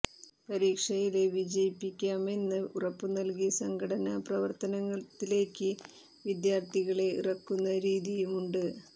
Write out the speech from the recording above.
പരീക്ഷയില് വിജയിപ്പിക്കാമെന്ന് ഉറപ്പു നല്കി സംഘടനാ പ്രവര്ത്തനത്തിലേക്ക് വിദ്യാര്ഥികളെ ഇറക്കുന്ന രീതിയുമുണ്ട്